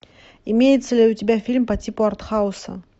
имеется ли у тебя фильм по типу артхауса